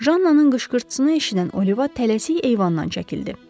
Jannanın qışqırtısını eşidən Oliva tələsik eyvandan çəkildi.